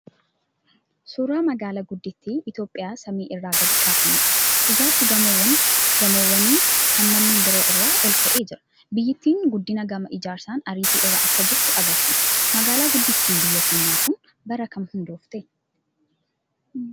Suuraa magaalaa guddittii Itoophiyaa samii irraa gadi kaafamedha. Ijaarsi gamoowwanii kan manneen biroo irra olka'ee jira. Biyyattiin guddina gama ijaarsaan ariitii irra akka jirtu agarsiisa. Magaalaan guddittiin biyya keenyaa kun bara kam hundoofte?